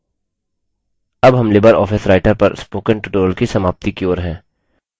अब हम LibreOffice writer पर spoken tutorial की समाप्ति की ओर हैं